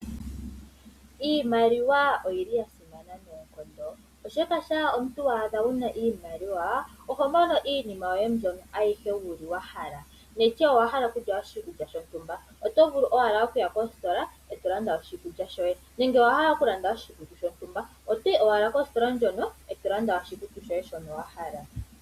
Iimaliwa oyi li ya simana noonkondo, oshoka shaa wadha omuntu ena iimaliwa oho mono iinima yoye ayihe mbyono ayihe wa kala wa hala netye owa hala okulya oshikulya shontumba oto vulu owala okuya kositola e to landa oshikulya shoye nenge owa hala okulanda oshikutu shontumba oto yi owala kositola ndjono et o landa oshikutu shoye shono wa hala.